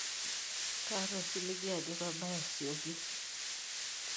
kaata osiligi ajo kabaya sioki